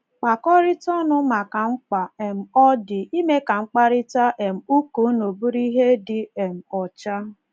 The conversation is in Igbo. Kpakọrịta ọnụ maka mkpa um ọ dị ime ka mkparịta um ụka unu bụrụ ihe dị um ọcha.